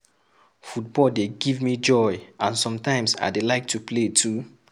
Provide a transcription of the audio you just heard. Football dey give me joy and sometimes I dey like to play too